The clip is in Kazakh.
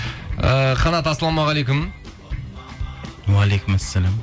і қанат ассаламағалейкум уағалейкумассалям